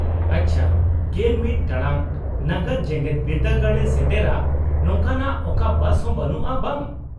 -ᱟᱪᱪᱷᱟ, ᱑᱑ ᱴᱟᱲᱟᱝ ᱱᱟᱜᱟᱫ ᱡᱮᱜᱮᱫ ᱵᱤᱨᱫᱟᱹᱜᱟᱲ ᱮ ᱥᱮᱴᱮᱨᱟ ᱱᱚᱝᱠᱟᱱᱟᱜ ᱚᱠᱟ ᱵᱟᱥ ᱦᱚᱸ ᱵᱟᱹᱱᱩᱜᱼᱟ, ᱵᱟᱝ ?